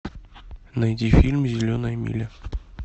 найди фильм зеленая миля